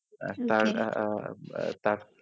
আর .